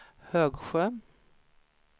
Högsjö